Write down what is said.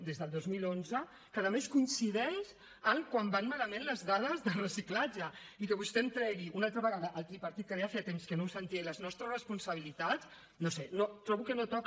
des del dos mil onze que a més coincideix amb quan van malament les dades de reciclatge i que vostè em tregui una altra vegada el tripartit que ara ja feia temps que no ho sentia i les nostres responsabilitats no ho sé trobo que no toca